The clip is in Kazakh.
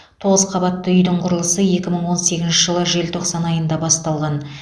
тоғыз қабатты үйдің құрылысы екі мың он сегізінші жылы желтоқсан айында басталған